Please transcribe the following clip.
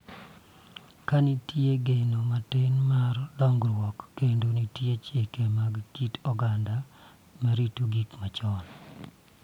Ka nitie geno matin mar dongruok kendo nitie chike mag kit oganda ma rito gik machon.